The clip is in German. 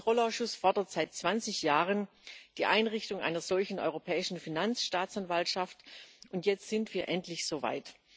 Der Haushaltskontrollausschuss fordert seit 20 Jahren die Einrichtung einer solchen Europäischen Finanzstaatsanwaltschaft, und jetzt sind wir endlich so weit.